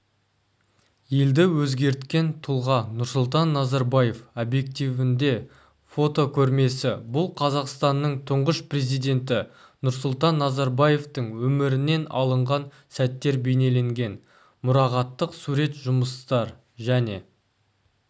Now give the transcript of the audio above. елді өзгерткен тұлға нұрсұлтан назарбаев объективінде фотокөрмесі бұл қазақстанның тұңғыш президенті нұрсұлтан назарбаевтың өмірінен алынған сәттер бейнеленген мұрағаттық сурет жұмыстар және